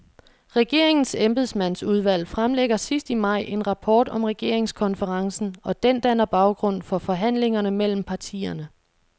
Regeringens embedsmandsudvalg fremlægger sidst i maj en rapport om regeringskonferencen, og den danner baggrund for forhandlingerne mellem partierne.